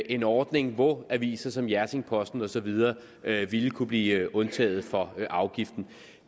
en ordning hvor aviser som hjerting posten og så videre ville kunne blive undtaget fra afgiften